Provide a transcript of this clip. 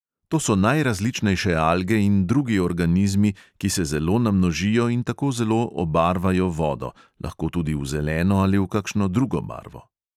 To so najrazličnejše alge in drugi organizmi, ki se zelo namnožijo in tako zelo obarvajo vodo, lahko tudi v zeleno ali v kakšno drugo barvo.